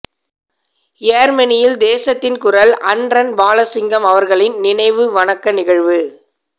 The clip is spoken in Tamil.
யேர்மனியில் தேசத்தின் குரல் அன்ரன் பாலசிங்கம் அவர்களின் நினைவு வணக்க நிகழ்வு